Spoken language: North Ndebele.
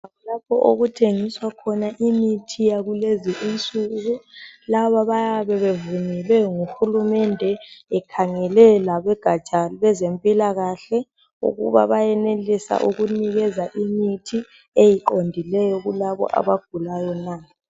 Lapho okuthengiswa khona imithi yakulezi insuku laba bayabe bevunyelwe ngukulumende ekhangele labegatsha lwezempilakahle ukuba bayenelisa ukunikeza imithi eqondileyo kulaba abagulayo na.